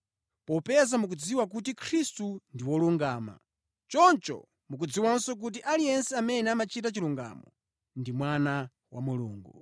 Popeza mukudziwa kuti Khristu ndi wolungama, choncho mukudziwanso kuti aliyense amene amachita chilungamo ndi mwana wa Mulungu.